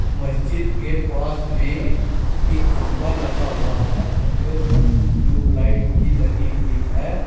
मस्जिद के पास में एक खंभा लगा हुआ है खंबे पर एक ट्यूब लाइट भी लगी हुई है।